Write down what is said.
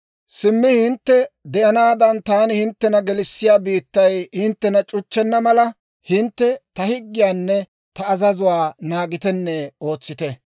« ‹Simmi hintte de'anaadan, taani hinttena gelissiyaa biittay hinttena c'uchchenna mala, hintte ta higgiyaanne ta azazuwaa naagitenne ootsite.